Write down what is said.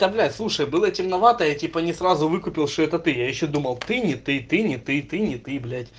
да блять слушай было темновато я типа не сразу выкупил что это ты я ещё думал ты не ты не ты не ты блять